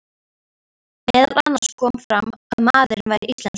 Meðal annars kom fram að maðurinn væri íslenskur.